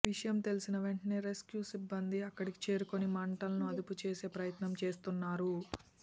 విషయం తెలిసిన వెంటనే రెస్కూ సిబ్బంది అక్కడికి చేరుకుని మంటలను అదుపు చేసే ప్రయత్నం చేస్తున్నారు